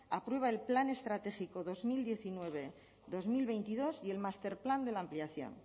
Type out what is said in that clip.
aprueba el plan estratégico dos mil diecinueve dos mil veintidós y el máster plan de la ampliación